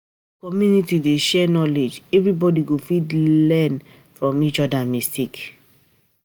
If community dey share knowledge, everybody go fit learn fit learn from each other mistake.